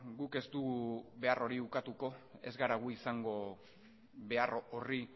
guk ez dugu behar hori ukatuko ez gara gu izango behar horri